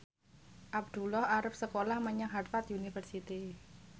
Abdullah arep sekolah menyang Harvard university